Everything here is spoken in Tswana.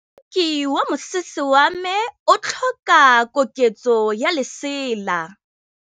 Moroki wa mosese wa me o tlhoka koketsô ya lesela.